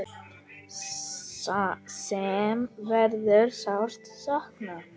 Sem verður sárt saknað.